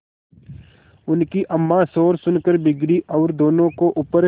उनकी अम्मां शोर सुनकर बिगड़ी और दोनों को ऊपर